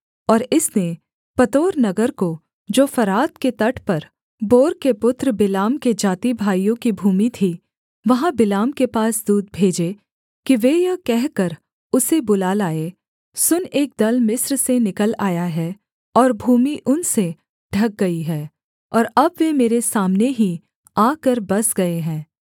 और इसने पतोर नगर को जो फरात के तट पर बोर के पुत्र बिलाम के जातिभाइयों की भूमि थी वहाँ बिलाम के पास दूत भेजे कि वे यह कहकर उसे बुला लाएँ सुन एक दल मिस्र से निकल आया है और भूमि उनसे ढक गई है और अब वे मेरे सामने ही आकर बस गए हैं